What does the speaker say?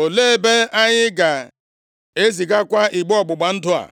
Olee ebe anyị ga-ezigakwa igbe ọgbụgba ndụ a?”